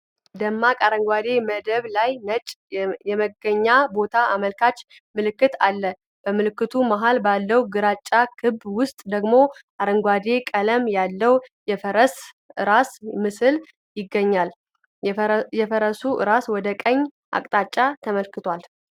ደማቅ አረንጓዴ መደብ ላይ ነጭ የመገኛ ቦታ አመልካች ምልክት አለ። በምልክቱ መሃል ባለው ግራጫ ክብ ውስጥ ደግሞ አረንጓዴ ቀለም ያለው የፈረስ ራስ ምስል ይገኛል፡። የፈረሱ ራስ ወደ ቀኝ አቅጣጫ ተመልክቷል፡።